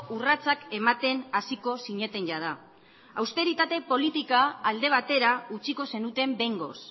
urratsak ematen hasiko zineten jada austeritate politika alde batera utziko zenuten behingoz